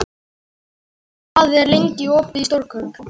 Arnleif, hvað er lengi opið í Stórkaup?